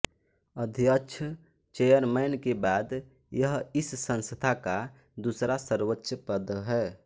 अध्यक्ष चेयरमैन के बाद यह इस संस्था का दूसरा सर्वोच्च पद है